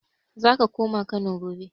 Zako koma Kano gobe